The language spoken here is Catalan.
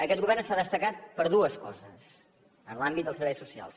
aquest govern s’ha destacat per dues coses en l’àmbit dels serveis socials